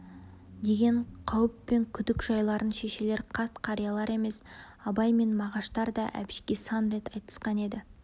деген қауіп пен күдік жайларын шешелер қарт-қариялар емес абай мен мағаштар да әбішке сан рет айтысқан еді